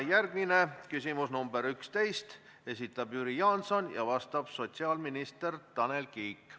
Järgmine, küsimus nr 11, esitab Jüri Jaanson ja vastab sotsiaalminister Tanel Kiik.